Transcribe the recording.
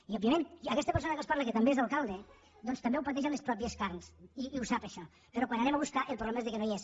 i òbviament aquesta persona que els parla que també és alcalde doncs també ho pateix en les pròpies carns i ho sap això però quan ho anem a buscar el problema és que no hi és